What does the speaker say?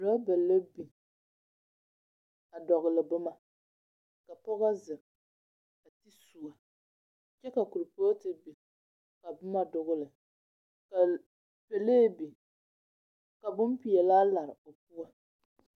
Rɔba la biŋ, a dɔgele boma, ka pɔga zeŋ, a de suo, kyɛ ka korpɔɔte biŋ, ka boma dogele, ka l pelee biŋ. Ka bompeɛlaa lare o poɔ.